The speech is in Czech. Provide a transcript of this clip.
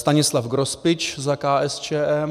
Stanislav Grospič za KSČM